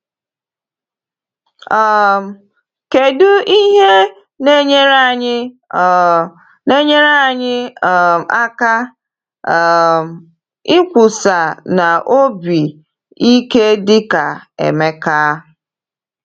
um Kedụ ihe na-enyere anyị um na-enyere anyị um aka um ikwusa n’obi ike dị ka Emeka?